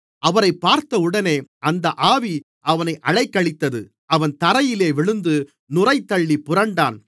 அவனை அவரிடம் கொண்டுவந்தார்கள் அவரைப் பார்த்தவுடனே அந்த ஆவி அவனை அலைக்கழித்தது அவன் தரையிலே விழுந்து நுரைதள்ளிப் புரண்டான்